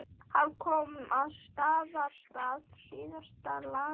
Hann kom að Staðarstað síðla dags.